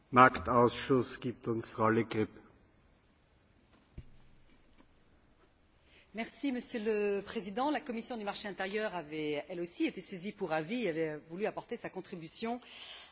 Monsieur le Président, la commission du marché intérieur avait elle aussi été saisie pour avis et avait voulu apporter sa contribution à cette réflexion sur la définition d'une gouvernance d'entreprise plus responsable,